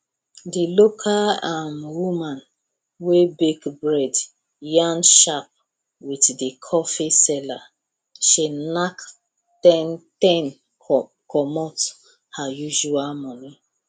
the local um woman wey bake bread yarn sharp with the coffee seller she knack ten commot her usual money